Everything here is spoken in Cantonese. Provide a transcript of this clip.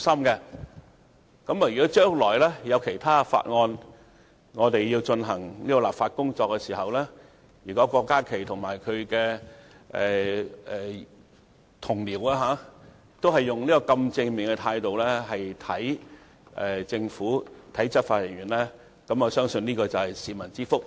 將來如果在其他法案進行立法工作的時候，郭家麒議員及其同僚也能用這種正面的態度來對待政府及執法人員，我相信會是市民之福。